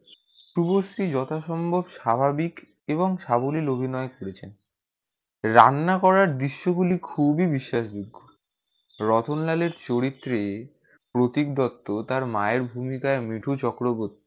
শুভশ্রি যথাসম্ভব স্বাভাবিক এবং সাবলীল অভিনয় করেছে রান্না করার দৃশ গুলি খুবই বিশ্বাসযোগ্য রতনলাল চরিত্রে প্রতীক দত্ত তার মায়ের ভূমিকায় মিঠু চক্রবর্তী